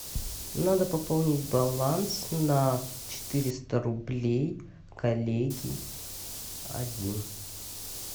надо пополнить баланс на четыреста рублей коллеги один